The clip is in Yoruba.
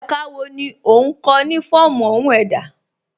Ẹ̀ká wọ́ ní o nkọ̀ ni fọọmu ọhun èdá?